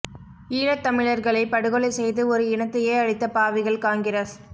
ஈழத் தமிழர்களை படுகொலை செய்து ஒரு இனத்தையே அழித்த பாவிகள் காங்கிரஸ்